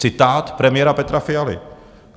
Citát premiéra Petra Fialy.